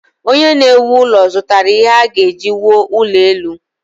Onye na-ewu ụlọ zụtara ihe a ga-eji wuo ụlọ elu.